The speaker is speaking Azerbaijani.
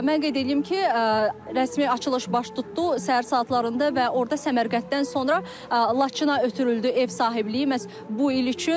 Mən qeyd eləyim ki, rəsmi açılış baş tutdu səhər saatlarında və orda Səmərqəddən sonra Laçına ötürüldü ev sahibliyi məhz bu il üçün.